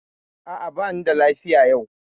A'a, bani da lafiya yau.